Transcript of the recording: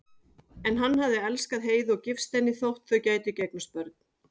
En hann hafði elskað Heiðu og gifst henni þótt þau gætu ekki eignast börn.